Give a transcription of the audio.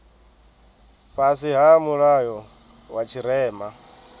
fhasi ha mulayo wa tshirema